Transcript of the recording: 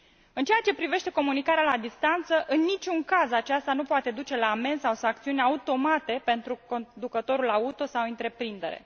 În ceea ce privește comunicarea la distanță, în niciun caz aceasta nu poate duce la amenzi sau sancțiuni automate pentru conducătorul auto sau întreprindere.